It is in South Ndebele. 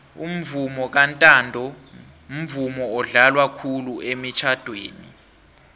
umvumo kantando mvumo odlalwa khulu emitjnadweni